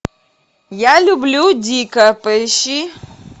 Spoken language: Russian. я люблю дика поищи